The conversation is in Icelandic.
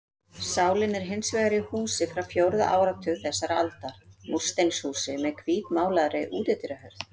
Sálin er hins vegar í húsi frá fjórða áratug þessarar aldar, múrsteinshúsi með hvítmálaðri útidyrahurð.